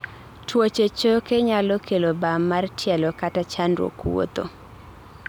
tuoche choke nyalo kelo bam mar tielo kata chandruok wuotho